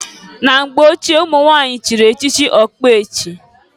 Na mgbe ochie, umunwanyị chiri echichi ọkpechi.